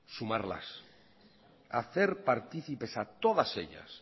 sumarlas hacer participes a todas ellas